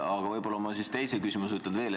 Aga ma teise küsimuse esitan veel.